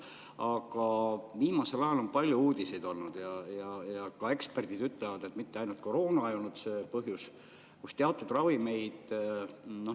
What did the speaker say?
Aga viimasel ajal on olnud palju uudiseid ja ka eksperdid ütlevad, et mitte ainult koroona ei olnud see põhjus, et teatud ravimid hakkavad kuskil otsa lõppema.